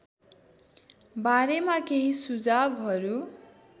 बारेमा केही सुझावहरू